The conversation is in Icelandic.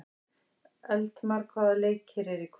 Eldmar, hvaða leikir eru í kvöld?